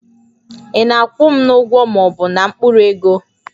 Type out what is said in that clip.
Ị na-akwụ m n'ụgwọ ma ọ bụ na mkpụrụ ego?